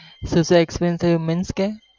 શું શું experience થયું means કે